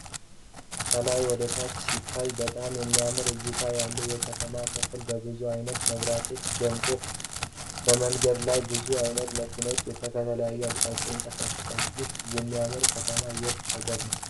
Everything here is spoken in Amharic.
ከላይ ወደታች ሲታይ በጣም የሚያምር እይታ ያለው የከተማ ክፍል በብዙ አይነት መብራቶች ደምቋል። በመንገዱ ላይም ብዙ አይነት መኪኖች ከተለያየ አቅጣጫ ይንቀሳቀሳሉ። ይህ የሚያምር ከተማ የት ሃገር ነው?